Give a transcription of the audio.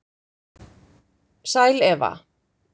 Sæl Eva,